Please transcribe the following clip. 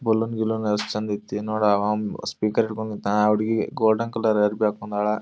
Balloon ಗಿಲೋನ್ ಅಷ್ಟ್ ಚಂದ ಐತಿ ನೋಡ್ ಅವ್ ಸ್ಪೀಕರ್ ಹಿಡ್ಕೊಂಡ್ ನಿತಾನ್. ಆ ಹುಡುಗಿ ಗೋಲ್ಡನ್ ಕಲರ್ ಅರಬಿ ಹಾಕೊಂಡಳಾ.